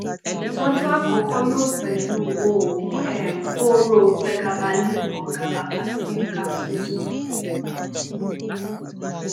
itoju akoko yoo pelu oogun um kooro pregabalin or gabapentin capsules